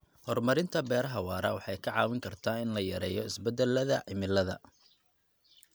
Hormarinta beeraha waara waxay ka caawin kartaa in la yareeyo isbedellada cimilada.